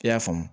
I y'a faamu